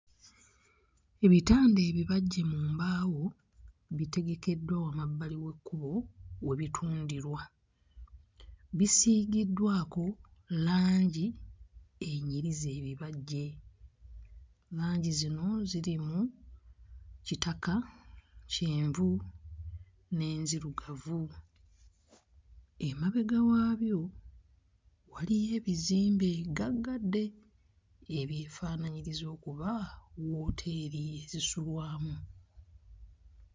Ebitanda ebibajje mu mbaawo bitegekeddwa wamabbali we bitundirwa, bisiigiddwako langi enyiriza ebibajje. Langi zino ziri mu kitaka, kyenvu n'enzirugavu. Emabega waabyo waliyo ebizimbe ggaggadde ebyefaanaanyiriza okuba wooteeri ezisulwamu.